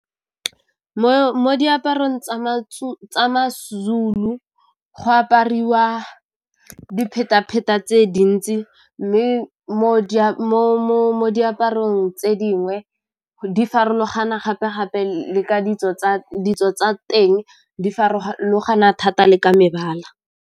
Mo diaparong tsa Mazulu go apariwa diphetapheta tse dintsi mme mo diaparong tse dingwe di farologana gape-gape le ka ditso tsa teng di farologana thata le ka mebala.